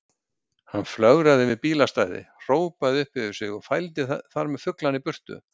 Hann flögraði yfir bílastæði, hrópaði upp yfir sig og fældi þar með fuglana í burtu.